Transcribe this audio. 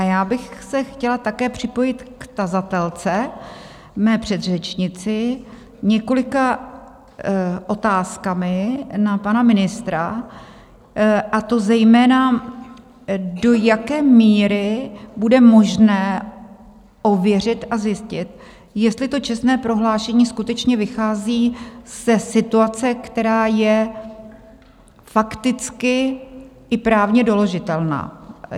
A já bych se chtěla také připojit k tazatelce, své předřečnici, několika otázkami na pana ministra, a to zejména, do jaké míry bude možné ověřit a zjistit, jestli to čestné prohlášení skutečně vychází ze situace, která je fakticky i právně doložitelná.